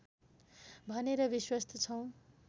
भनेर विश्वस्त छौँ